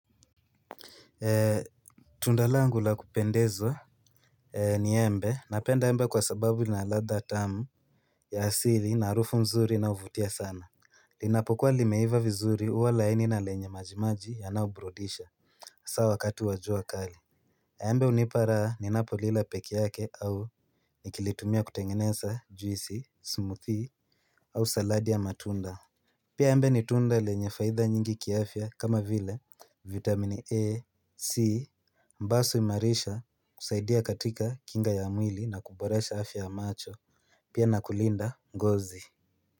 Tunda langu la kupendeza ni embe napenda embe kwa sababu na ladha tamu ya asili na harufu mzuri na huvutia sana. Linapokuwa limeiva vizuri huwa laini na lenye majimaji yanayoburudisha hasa wakati wa jua kali. Embe unipa raha ninapo lila peke yake au nikilitumia kutengeneza juisi, smoothie au saladi ya matunda. Pia embe ni tunda lenye faida nyingi kiafya kama vile vitamine A, C. Mbasu imarisha kusaidia katika kinga ya mwili na kuboresha afya ya macho. Pia na kulinda ngozi.